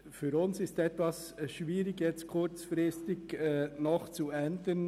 Für uns ist es etwas schwierig, hier kurzfristig etwas zu ändern.